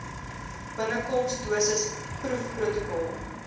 binnekoms dosis proefprotokol